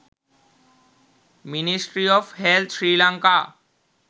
ministry of health sri lanka